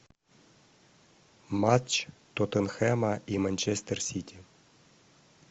матч тоттенхэма и манчестер сити